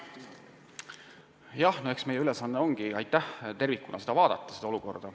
Jah, eks meie ülesanne olegi seda olukorda tervikuna vaadata.